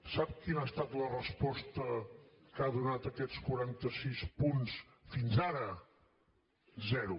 sap quina ha estat la resposta que ha donat a aquests quaranta sis punts fins ara zero